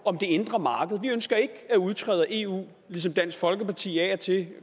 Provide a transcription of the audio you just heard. det indre marked vi ønsker ikke at udtræde af eu ligesom dansk folkeparti af og til i